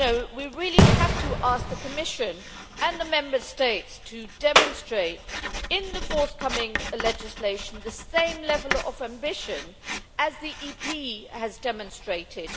We really have to ask the Commission and the Member States to demonstrate, in the forthcoming legislation, the same level of ambition as Parliament has demonstrated.